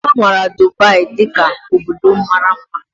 A maara Dubai dị ka obodo mara mma